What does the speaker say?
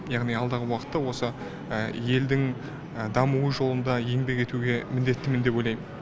яғни алдағы уақытта осы елдің дамуы жолында еңбек етуге міндеттімін деп ойлаймын